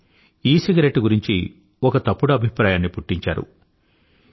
కానీ ఈసిగరెట్టు గురించి ఒక తప్పుడు అభిప్రాయాన్ని పుట్టించారు